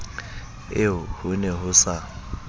eo ho ne ho sa